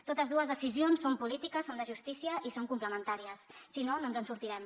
totes dues decisions són polítiques són de justícia i són complementàries si no no ens en sortirem